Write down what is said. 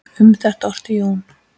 Um þetta orti Jón